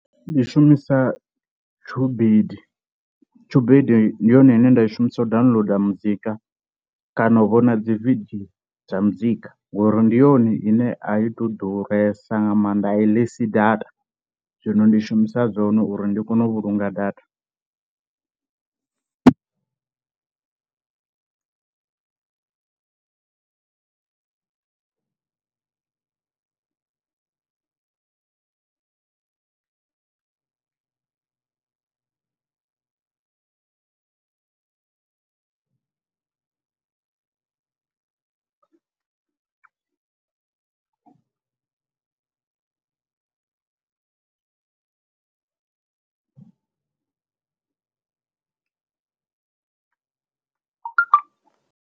Ndi shumisa Tubed, Tubed ndi yone ine nda i shumisa u downloader muzika kana u vhona dzi video dza muzika ngori ndi yone ine a i tou ḓuresa nga maanḓa a i ḽisi data, zwino ndi shumisa dzone uri ndi kone u vhulunga data .